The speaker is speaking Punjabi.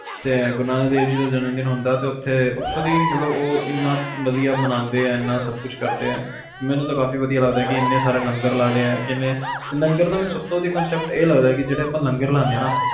ਤੇ ਗੁਰੂ ਨਾਨਕ ਦੇਵ ਜੀ ਦਾ ਜਨਮ ਦਿਨ ਹੁੰਦਾ ਤੇ ਉੱਥੇ ਓਥੋਂ ਦੀ ਮਤਲਬ ਵਧੀਆ ਮਨਾਂਦੇ ਆ ਏਨਾ ਸਬ ਕੁਛ ਕਰਦੇ ਆ ਮੈਨੂੰ ਤਾ ਕਾਫੀ ਵਧੀਆ ਲੱਗਦਾ ਏਨੇ ਸਾਰੇ ਲੰਗਰ ਲੱਗਦੇ ਆ ਲੰਗਰ ਦਾ ਜਿਹੜਾ ਸਬ ਵਧੀਆ concept ਇਹ ਲੱਗਦਾ ਕੇ ਜਿਹੜੇ ਆਪਾ ਲੰਗਰ ਲਾਨੇ ਆ ਨਾ